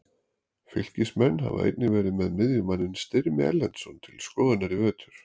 Fylkismenn hafa einnig verið með miðjumanninn Styrmi Erlendsson til skoðunar í vetur.